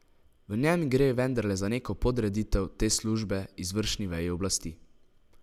V njem gre vendarle za neko podreditev te službe izvršni veji oblasti.